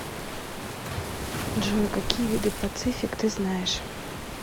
джой какие виды пацифик ты знаешь